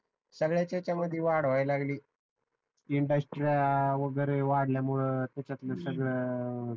संगळ्याच्या याच्या मधी वाढ होऊ लागली इंडस्ट्री वाढल्यामुळ तीच्यातल सगळ